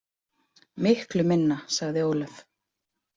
Miklu minna, sagði Ólöf.